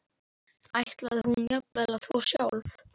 Ætlaði hún jafnvel að þvo sjálf?